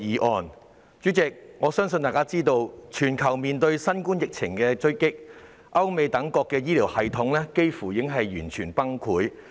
代理主席，眾所周知，全球面對新冠疫情衝擊，歐美等地的醫療系統幾乎已完全崩潰。